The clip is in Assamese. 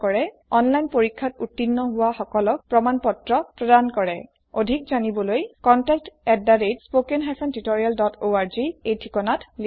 এটা অনলাইন পৰীক্ষাত উত্তীৰ্ণ হোৱা সকলক প্ৰমাণ পত্ৰ প্ৰদান কৰে অধিক জানিবৰ বাবে অনুগ্ৰহ কৰি contactspoken tutorialorg এই ঠিকনাত লিখক